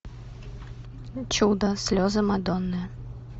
чудо слезы мадонны